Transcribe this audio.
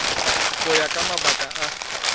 go ya ka mabaka a